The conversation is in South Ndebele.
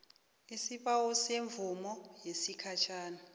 isibawo semvumo yesikhatjhana